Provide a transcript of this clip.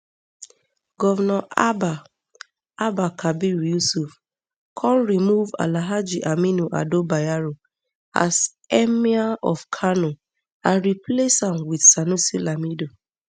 govnor abba abba kabir yusuf come remove alhaji aminu ado bayero as emir of kano and replace am wit sanusi lamido